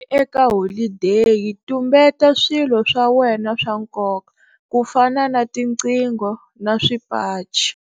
Eka holideyi, tumbeta swilo swa wena swa nkoka, ku fana na tiqingho na swipachi.